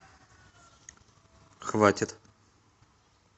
хватит